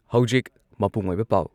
ꯍꯧꯖꯤꯛ ꯃꯄꯨꯡ ꯑꯣꯏꯕ ꯄꯥꯎ